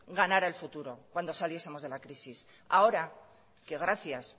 ganara el futuro cuando saliesemos de la crisis ahora que gracias